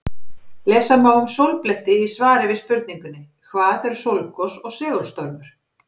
Lesa má um sólbletti í svari við spurningunni Hvað eru sólgos og segulstormur?